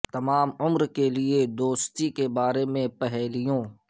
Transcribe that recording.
تمام عمر کے لئے دوستی کے بارے میں پہیلیوں